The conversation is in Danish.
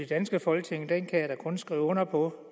danske folketing kan jeg da kun skrive under på